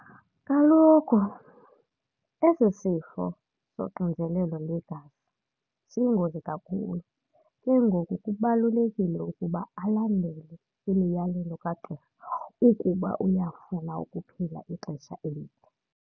Kaloku esi sifo soxinzelelo lwegazi siyingozi kakhulu. Ke ngoku kubalulekile ukuba alandele imiyalelo kagqirha ukuba uyafuna ukuphila ixesha elide.